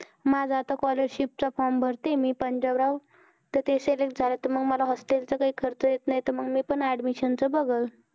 माझा आता scholarship चा form भरतेय मी पंजाबराव. तर ते select झालं, तर मग मला hostel चा काही खर्च येत नाही. तर मग मी पण admission चं बघलं.